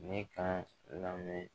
Ne ka lamɛn